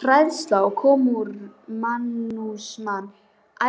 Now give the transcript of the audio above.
Hræðslan við kommúnismann